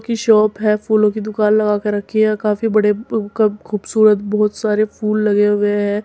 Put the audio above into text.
की शॉप है। फूलों की दुकान लगा के रखी है काफी बड़े खूबसूरत बोहोत सारे फूल लगे हुए हैं।